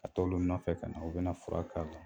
Ka t'ɔlu nɔfɛ kana u bɛna fura k'a la.